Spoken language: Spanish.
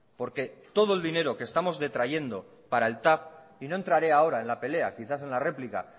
porque todo el dinero que estamos detrayendo para el tav y no entraré ahora en la pelea quizás en la replica